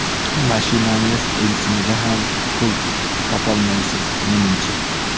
Mashinangiz benziniga ham pul topolmaysiz menimcha.